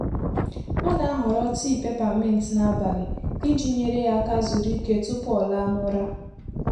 Ọ na-ahọrọ tii pèpà mint n’abalị iji nyere ya aka zuru ike tupu ọ laa n’ụra.